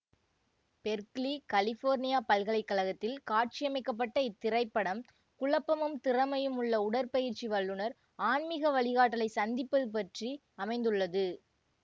Berkeley California பல்கலை கழகத்தில் காட்சியமைக்கப்பட்ட இத்திரைப்படம் குழப்பமும் திறமையும் உள்ள உடற்பயிற்சி வல்லுனர் ஆன்மீக வழிகாட்டலை சந்திப்பது பற்றி அமைந்துள்ளது